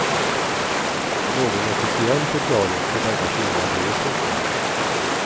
Någon officiell förklaring till denna skillnad ges inte.